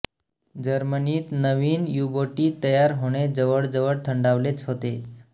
जर्मनीत नवीन युबोटी तयार होणे जवळजवळ थंडावलेच होते